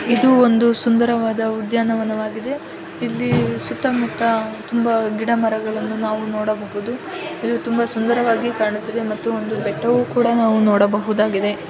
ಇದು ಒಂದು ಸುಂದರವಾದ ಉದ್ಯಾನವನವಾಗಿದೆ. ಇಲ್ಲಿ ಸುತ್ತಮುತ್ತ ತುಂಬಾ ಗಿಡ ಮರಗಳನ್ನು ನಾವು ನೋಡಬಹುದು. ಇದು ತುಂಬಾ ಸುಂದರವಾಗಿ ಕಾಣುತ್ತಿದೆ ಮತ್ತು ಒಂದು ಬೆಟ್ಟವು ಕೂಡ ನಾವು ನೋಡಬಹುದಾಗಿದೆ.